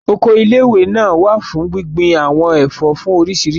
Oko ilé ìwé náà wà fún gbíngbin àwọn ẹ̀fọ́ fún oríṣiríṣi lílò